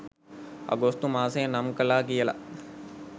අගෝස්තු මාසය නම් කළා කියලත්